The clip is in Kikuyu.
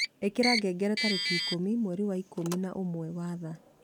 ĩkĩra ngengere tarĩki ikũmi mweri wa ikũmi na ũmwe wa thaa